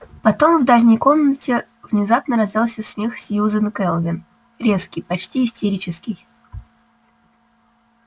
потом в дальней комнате внезапно раздался смех сьюзен кэлвин резкий почти истерический